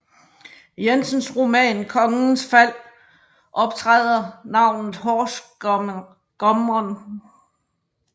Jensens roman Kongens Fald optræder navnet horsgumren